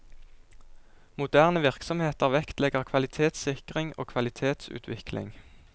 Moderne virksomheter vektlegger kvalitetssikring og kvalitetsutvikling.